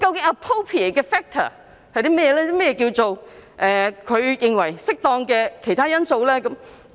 何謂"署長認為適當的任何其他因素"呢？